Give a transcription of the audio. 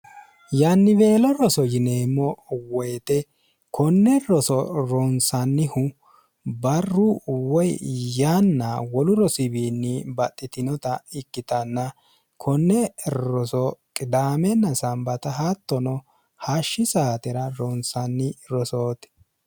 yannibeelo roso yineemmo woyixe konne roso ronsannihu barru woy yaanna wolu rosiiwiinni baxxitinota ikkitanna konne roso qidaamenna smbt hattono hashshi saatera ronsanni rosooti